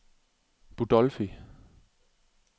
Budolfi